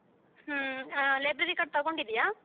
ಹ್ಮ library card ತಗೊಂಡಿದಿಯ?